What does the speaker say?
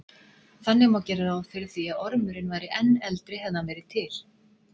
Þannig má gera ráð fyrir því að ormurinn væri enn eldri hefði hann verið til.